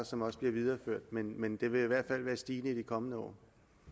som også bliver videreført men men det vil i hvert fald være stigende i de kommende år